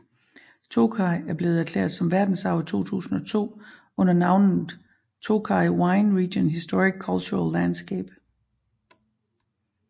Tokaj er blevet erklæret som verdensarv i 2002 under navnet Tokaj Wine Region Historic Cultural Landscape